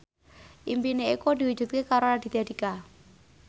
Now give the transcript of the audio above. impine Eko diwujudke karo Raditya Dika